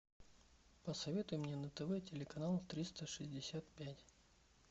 посоветуй мне на тв телеканал триста шестьдесят пять